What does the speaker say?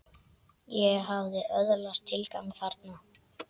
Ég hafði öðlast tilgang þarna.